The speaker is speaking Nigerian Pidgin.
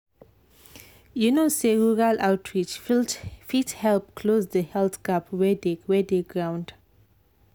you know say rural outreach fit help close the health gap wey dey ground.